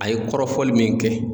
A ye kɔrɔfɔli min kɛ